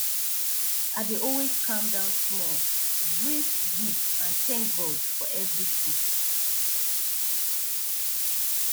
i dey always calm down small breathe deep and thank god for everything